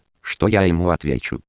что я ему